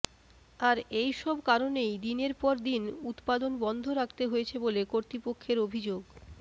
আর এই সব কারণেই দিনের পর দিন উত্পাদন বন্ধ রাখতে হয়েছে বলে কর্তৃপক্ষের অভিযোগ